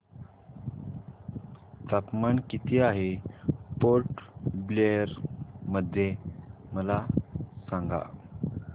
तापमान किती आहे पोर्ट ब्लेअर मध्ये मला सांगा